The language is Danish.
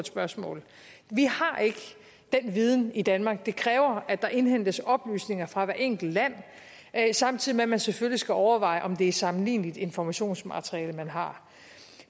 spørgsmål vi har ikke den viden i danmark det kræver at der indhentes oplysninger fra hvert enkelt land samtidig med at man selvfølgelig skal overveje om det er sammenligneligt informationsmateriale man har